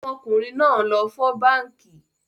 Ọmọkùnrin náà lọ fọ́ báànkì